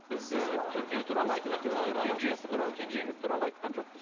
біз ы төртеуі туралы айттық ыыы кенжесі туралы кенжеңіз туралы айтқан жоқпыз